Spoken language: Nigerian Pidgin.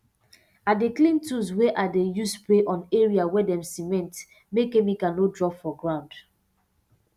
i dey clean tools wey i dey use spray on area wey dem cement make chemical no drop for ground